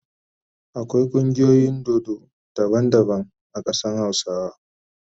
Akwai kungiyoyin dodo daban daban a kadan hausawa.